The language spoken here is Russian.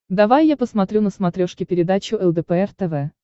давай я посмотрю на смотрешке передачу лдпр тв